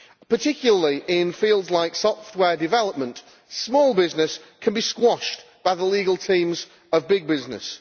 Particularly in fields like software development, small business can be squashed by the legal teams of big business.